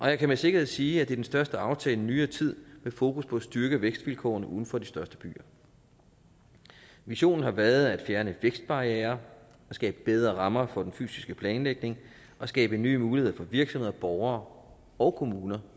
jeg kan med sikkerhed sige at det er den største aftale i nyere tid med fokus på at styrke vækstvilkårene uden for de største byer visionen har været at fjerne vækstbarrierer skabe bedre rammer for den fysiske planlægning og skabe nye muligheder for virksomheder og borgere og kommuner